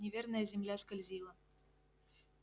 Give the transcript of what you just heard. неверная земля скользила